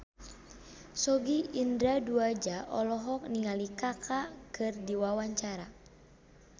Sogi Indra Duaja olohok ningali Kaka keur diwawancara